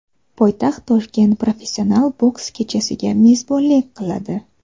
Poytaxt Toshkent professional boks kechasiga mezbonlik qiladi.